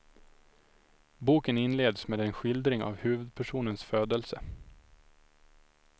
Boken inleds med en skildring av huvudpersonens födelse.